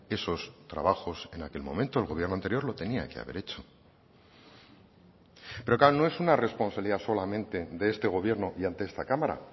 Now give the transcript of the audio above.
esos trabajos en aquel momento el gobierno anterior lo tenía que haber hecho pero claro no es una responsabilidad solamente de este gobierno y ante esta cámara